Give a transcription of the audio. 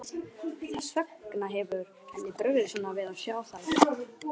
Þess vegna hefur henni brugðið svona við að sjá þær.